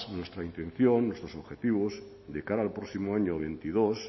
nuestra intención nuestros objetivos de cara al próximo año veintidós